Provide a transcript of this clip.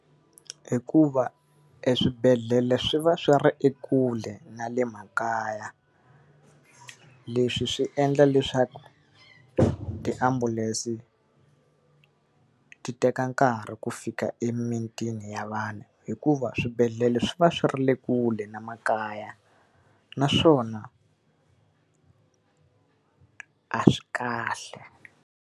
Hikuva e swibedhlele swi va swi ri ekule na le makaya. Leswi swi endla leswaku tiambulense ti teka nkarhi ku fika emimitini ya vanhu hikuva swibedhlele swi va swi ri le kule na makaya, naswona a swi kahle.